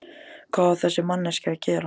Hvað á þessi manneskja að gera?